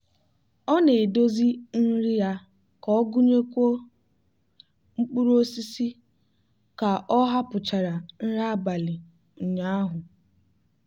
ọ na-edozi nri ya ka ọ gụnyekwuo mkpụrụ osisi ka ọ hapụchara nri abalị ụnyaahụ.